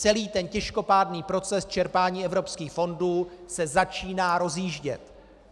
Celý ten těžkopádný proces čerpání evropských fondů se začíná rozjíždět.